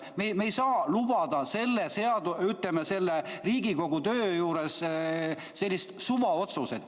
Me ei saa lubada Riigikogu töö juures selliseid suvaotsuseid.